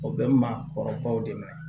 O bɛ maakɔrɔbaw dɛmɛ